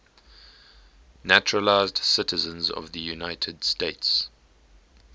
naturalized citizens of the united states